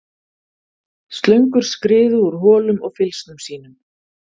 Slöngur skriðu úr holum og fylgsnum sínum.